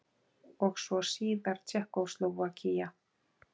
Og svo síðar Tékkóslóvakía.